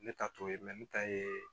Ne ta t'o ye ne ta ye